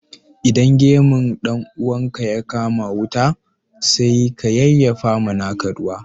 Idan gemun dan uwanka ya kama wuta, sai ka yayyafa ma naka ruwa